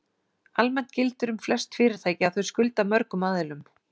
Almennt gildir um flest fyrirtæki að þau skulda mörgum aðilum.